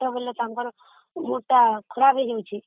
ହେଲେ ତାଙ୍କର ମୋଟା ଦେହ ରହୁଛି